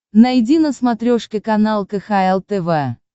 найди на смотрешке канал кхл тв